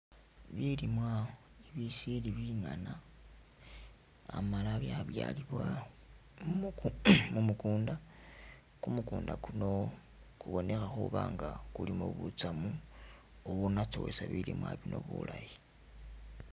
Bilimwa bisili bingana amala byabyalibwa mumu mumukunda ,kumukunda kuno kubonekha khuba nga kulimo butsamu bubu'natsowesa bilimwa bino bulayi